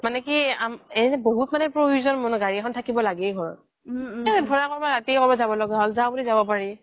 মানে কি এহ বহুত মানে প্ৰয়োজ্ন গাৰি এখন থাকিব লাগেই ঘৰত ধৰা ৰাতিয়ে কৰোবাত যাব লাগা হ্'ল যাও বুলি যাব পাৰি